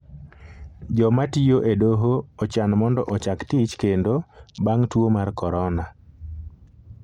joma tiyo e doho ochan mondo ochak tich kendo bang' tuo mar korona.